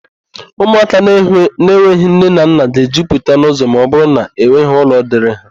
Ụmụaka na-enweghị nne na nna ga-ejupụta n'ụ́zọ̀ ma ọbụrụ na enweghị ụlọ dịịrị ha.